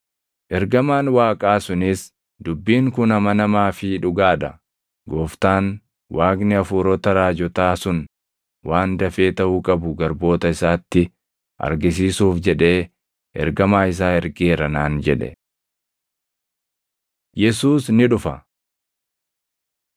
Ergamaan Waaqaa sunis, “Dubbiin kun amanamaa fi dhugaa dha. Gooftaan, Waaqni hafuurota raajotaa sun waan dafee taʼuu qabu garboota isaatti argisiisuuf jedhee ergamaa isaa ergeera” naan jedhe. Yesuus Ni Dhufa